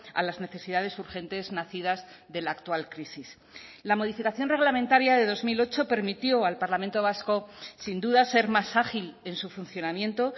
a las necesidades urgentes nacidas de la actual crisis la modificación reglamentaria de dos mil ocho permitió al parlamento vasco sin duda ser más ágil en su funcionamiento